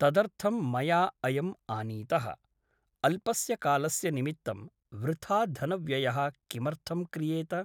तदर्थं मया अयम् आनीतः । अल्पस्य कालस्य निमित्तं वृथा धनव्ययः किमर्थं क्रियेत ?